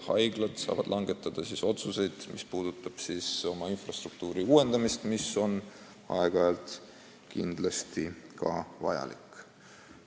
Haiglad saavad langetada otsuseid oma infrastruktuuri uuendamiseks, mis aeg-ajalt on kindlasti vajalik.